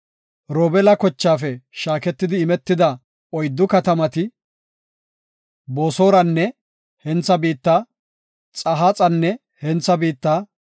Robeela, kochaafe shaaketidi imetida oyddu katamati, Boosoranne hentha biitta, Yahaaxanne hentha biitta,